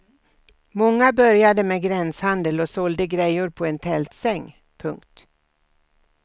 Många började med gränshandel och sålde grejor på en tältsäng. punkt